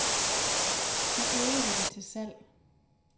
I øvrigt er de til salg.